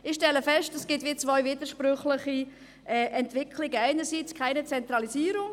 Ich stelle zwei widersprüchliche Entwicklungen fest: einerseits keine Zentralisierung.